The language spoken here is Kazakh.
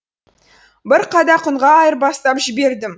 бір қадақ ұнға айырбастап жібердім